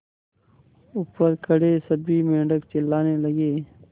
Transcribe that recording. ऊपर खड़े सभी मेढक चिल्लाने लगे